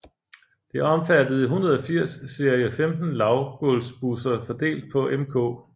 Det omfattede 180 serie 15 lavgulvsbusser fordelt på mk